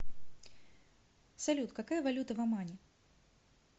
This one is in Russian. салют какая валюта в омане